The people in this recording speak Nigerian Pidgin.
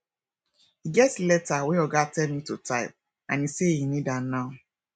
e get leta wey oga tell me to type and he say he need am now